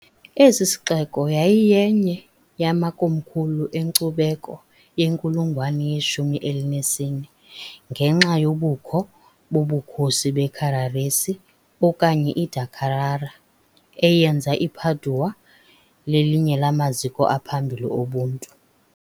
Esi sixeko yayiyenye yamakomkhulu enkcubeko yenkulungwane yeshumi elinesine, ngenxa yobukho bobukhosi beCarraresi okanye iDa Carrara, eyenza iPadua lelinye lamaziko aphambili obuntu.